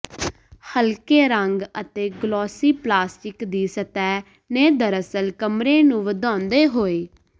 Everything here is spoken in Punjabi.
ਹਲਕੇ ਰੰਗ ਅਤੇ ਗਲੋਸੀ ਪਲਾਸਟਿਕ ਦੀ ਸਤਹਿ ਨੇ ਦਰਅਸਲ ਕਮਰੇ ਨੂੰ ਵਧਾਉਂਦੇ ਹੋਏ